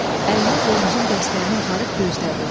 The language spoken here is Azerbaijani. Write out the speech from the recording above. Əlini qılıncın dəstəyinə aparıb gözdədi.